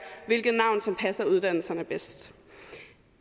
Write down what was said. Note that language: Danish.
hvilket navn som passer uddannelserne bedst